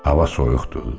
Hava soyuqdur.